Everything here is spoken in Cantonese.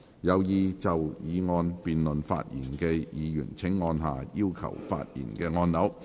有意就議案辯論發言的議員請按下"要求發言"按鈕。